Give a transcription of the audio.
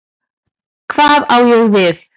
Hvað á ég við?